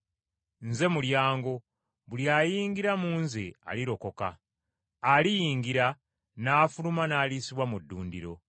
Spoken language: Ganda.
Nze mulyango; buli ayingirira mu Nze alirokoka. Aliyingira, n’afuluma n’aliisibwa mu ddundiro.